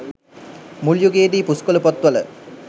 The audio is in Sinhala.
මුල් යුගයේදී පුස්කොළ පොත් වල